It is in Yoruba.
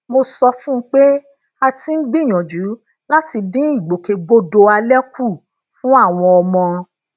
mo sọ fún un pé a ti ń gbìyànjú láti dín ìgbòkègbodò alẹ kù fún àwọn ọmọ